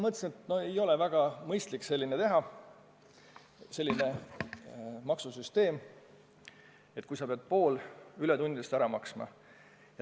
Ja siis ma mõtlesin, et ei ole väga mõistlik teha selline maksusüsteem, mille korral sa pead poole ületundide tasust ära maksma.